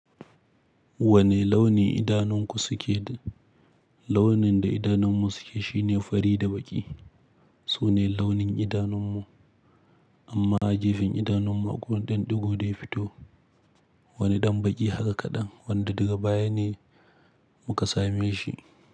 Wani launi idanunku suke? Launin da idanunmu suke shine fari da baƙi. Toh ni launin idanunmu, amma a gefen idanunmu akwai wani ɗan ɗigo daya fito. Wani ɗan baƙi haka kaɗan wanda daga baya ne muka same shi.